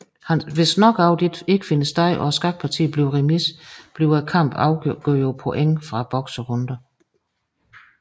Hvis knockout ikke finder sted og skakpartiet bliver remis bliver kampen afgjort på point fra bokserunderne